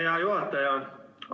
Hea juhataja!